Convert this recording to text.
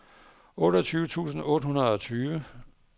otteogtyve tusind otte hundrede og tyve